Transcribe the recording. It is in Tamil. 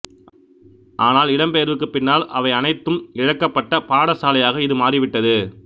ஆனால் இடம் பெயர்வுக்கு பின்னால் அவை அனைத்தும் இழக்கப்பட்ட பாடசாலையாக இது மாறிவிட்டது